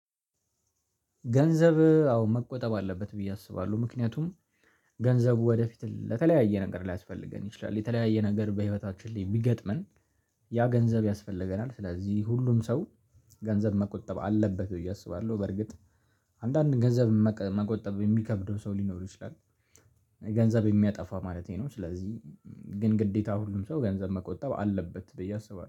ገንዘብ አዎ መቆጠብ አለበት ብዬ አስባለሁ ምክንያቱም ገንዘቡ ወደፊት ለተለያየ ነገር ሊያስፈልገን ይችላል የተለያየ ነገር በህይወታችን ላይ ቢገጥመን ያ ገንዘብ ያስፈልገናል ስለዚህ ሁሉም ሰው ገንዘብ መቆጠብ አለበት ብዬ አስባለሁ በርግጥ አንዳንድ ገንዘብ መቅ መቆጠብ የሚከብደው ሰው ሊኖር ይችላል ገንዘብ የሚያጠፋ ማለቴ ነው ስለዚህ ግን ግዴታ ሁሉም ሰው ገንዘብ መቆጠብ አለበት ብዬ አስባለሁ።